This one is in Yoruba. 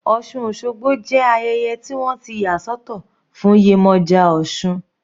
Osun osogbo jẹ́ ayẹyẹ tí wọ́n ti yà sọ́tọ̀ fún Yemoja osun.